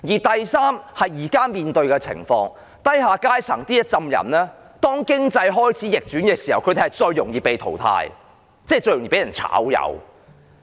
第三，現時面對的情況是，當經濟開始逆轉的時候，低下階層的人最容易被淘汰，即最容易被"炒魷"。